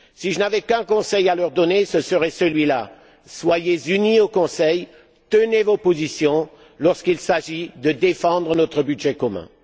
Si je n'avais qu'un conseil à leur donner, ce serait le suivant Soyez unis au Conseil, tenez vos positions lorsqu'il s'agit de défendre notre budget commun.